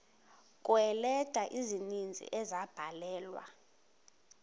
kweeleta ezininzi ezabhalelwa